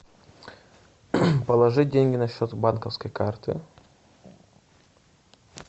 положить деньги на счет с банковской карты